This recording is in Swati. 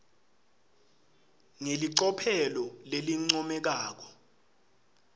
ngelicophelo lelincomekako